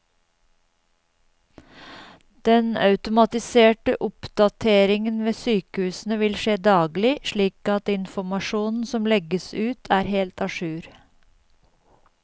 Den automatiserte oppdateringen ved sykehusene vil skje daglig, slik at informasjonen som legges ut er helt a jour.